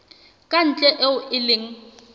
ka ntle eo e leng